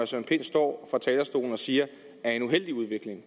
søren pind står fra talerstolen og siger er en uheldig udvikling